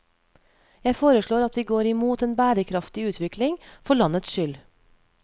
Jeg foreslår at vi går imot en bærekraftig utvikling, for landets skyld.